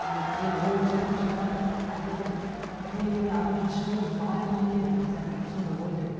әлде енді ол онша діншіл адам болған жоқ әлде бір бір нелеріне адам шынымен жазаланады ма екен деген сияқты бір сондай ой келді